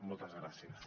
moltes gràcies